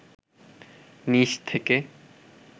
নিচ থেকে